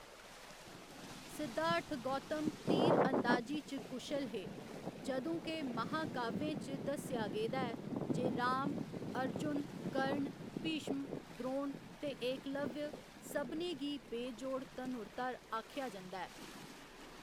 सिद्धार्थ गौतम तीर अंदाजी च कुशल हे, जदूं के महाकाव्यें च दस्सेआ गेदा ऐ जे राम, अर्जुन, कर्ण, भीष्म, द्रोण ते एकलव्य सभनें गी बेजोड़ धनुर्धर आखेआ जंदा ऐ।